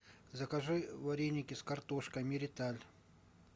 закажи вареники с картошкой мериталь